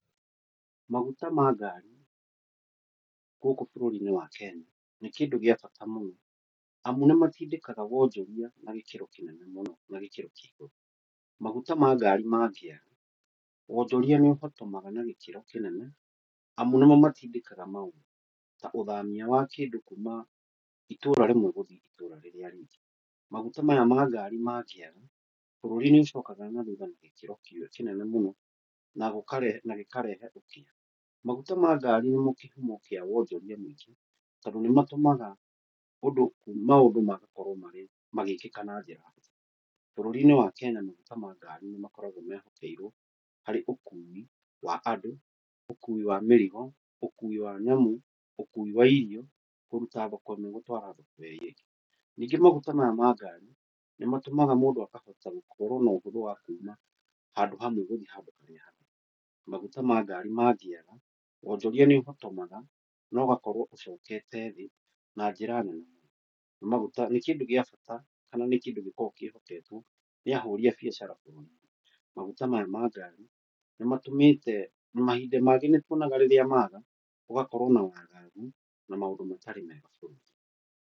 Maguta ma ngari, gũkũ bũrũri-inĩ wa Kenya nĩ kĩndũ gĩa bata mũno amu nĩ matindĩkaga wonjoria na gĩkĩro kĩnene mũno na gĩkĩro kia igũru. Maguta ma ngari mangĩaga, wonjoria nĩ ũhotomaga na gĩkĩro kĩnene amu nĩmo matindĩkaga maũndũ. Ta ũthamia wa kĩndũ kuma itũra rĩmwe gũthiĩ itũra rĩngĩ maguta maya ma ngari mangĩaga bũrũri nĩũcokaga na thutha na gĩkĩro kĩnene mũno na gĩkarehe ũkĩa. Maguta ma ngari nĩmo kĩhumo kĩa wonjoria mũingĩ tondũ nĩ matũmaga maũndũ makorwo magĩkĩka na njĩra huthũ. Bũrũri-inĩ wa Kenya maguta nĩ makoragwo mehokeirwo harĩ ũkui wa andũ, ũkui wa mĩrigo, ũkui wa nyamũ, ũkui wa irio, kũruta thoko ĩmwe gũtwara thoko ĩrĩa ĩngĩ. Ningĩ maguta maya ma ngari nĩmatũmaga mũndũ akahota gũkorwo na ũhũthũ wa kuma handũ hamwe gũthiĩ handũ harĩa hangĩ. Maguta ma ngari mangĩaga wonjoria nĩ ũhotomaga na ũgakorwo ũcokete thĩ na njĩra nene. Nĩ kĩndũ gĩa bata kana kĩndũ gĩkoragwo kĩhoketwo nĩ ahũri a biacara mũno. Maguta maya ma ngari mahinda mangĩ nĩ matũmĩte rĩrĩa maga gũgakorwo na wagagu na maũndũ matarĩ mega bũrũri-inĩ.